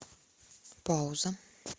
пауза